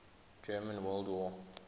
german world war